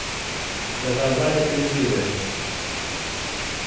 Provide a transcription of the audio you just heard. заказать апельсины